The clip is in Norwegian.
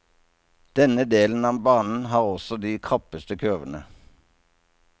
Denne delen av banen har også de krappeste kurvene.